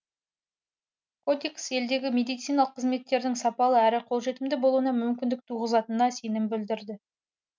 кодекс елдегі медициналық қызметтердің сапалы әрі қолжетімді болуына мүмкіндік туғызатынына сенім білдірді